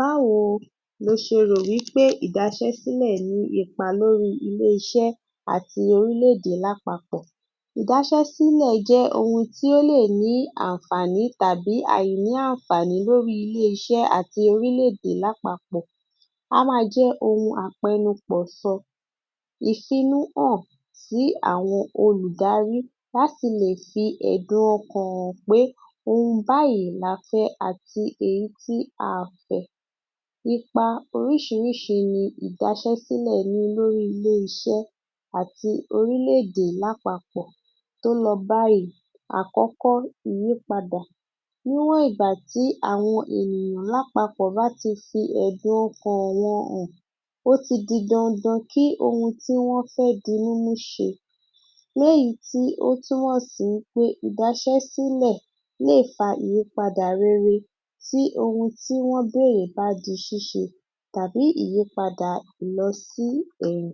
Báwo lo ṣe rò ípé ìdaṣẹ́-sílẹ̀ ní ipa lórí iṣẹ́ àti orílè-èdè lápapọ̀. Ìdaṣẹ́-sílẹ̀ jẹ́ ohun tí ó lè ní àǹfààní tàbí àìní àǹfààní lórí ilé-iṣẹ́ àti orílè-èdè lápapọ̀. A máa jẹ́ ohun àpẹnupọ̀ sọ. Ìfinúhàn sí àwọn olùdarí láti lè fi ẹ̀dùn ọkàn hàn pé ohun báyìí la fẹ́ àti èyítí aà fẹ́. Ipa oríṣiríṣi ni ìdaṣẹ́-sílẹ̀ ní lórí ilé-iṣẹ́ àti orílè-èdè lápapọ̀ tó lọ báyìí Àkọ́kọ́ ìyípadà Níwọ̀n ìgbà tí àwọn ènìyàn lápapọ̀ bá ti fi ẹ̀dùn ọkàn wọn hàn, ó ti di dandan kí ohun tí wọ́n fẹ́ dinúmú ṣe léyìí tí ó túmọ̀ sí wí pé ìdaṣẹ́-sílẹ̀ lè fa ìyípadà rere sí ohun tí wọ́n bẹ̀rẹ̀ bá di ṣíṣe tàbí ìyípadà lọ sí ẹ̀yìn.